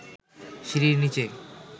সিঁড়ির নিচে